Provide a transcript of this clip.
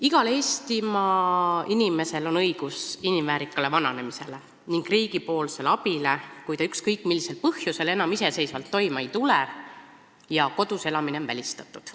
Igal Eestimaa inimesel on õigus inimväärsele vananemisele ja riigi abile, kui ta ükskõik millisel põhjusel enam iseseisvalt toime ei tule ja kodus elamine on välistatud.